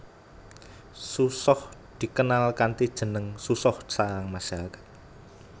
Susoh dikenal kanthi jeneng susoh sarang masyarakat